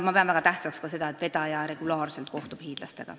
Ma pean väga tähtsaks ka seda, et vedaja kohtub regulaarselt hiidlastega.